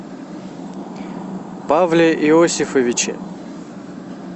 павле иосифовиче